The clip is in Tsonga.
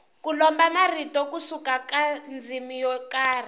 ku lomba marito ku suka ka ndzimi yo karhi